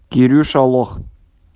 кирюша лох